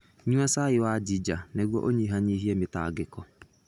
Nyua cai wa ginger nĩguo ũnyihanyihie mĩtangĩko.